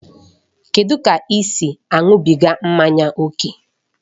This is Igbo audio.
Kedụ ka ị si aṅụbiga mmanya ókè?